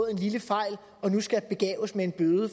en lille fejl og nu skal begaves med en bøde